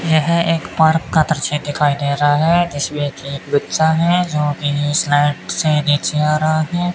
यह एक पार्क का दृश्य दिखाई दे रहा है जिसमें कि एक बच्चा है जो कि स्लाइड से नीचे आ रहा है।